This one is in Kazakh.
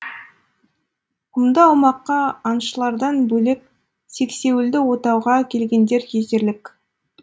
құмды аумаққа аңшылардан бөлек сексеуілді отауға келгендер жетерлік